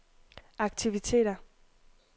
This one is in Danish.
aktiviteter